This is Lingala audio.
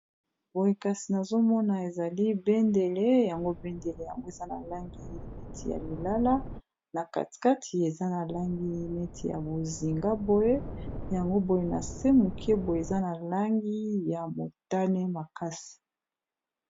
boye kasi nazomona ezali bendele yango bendele yango eza na langi imeti ya lilala na katikati eza na langi imeti ya bozingaboye yango boye na se moke boye eza na langi ya motane makasi